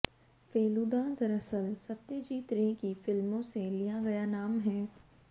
फेलूदा दरअसल सत्यजीत रे की फिल्मों से लिया गया नाम है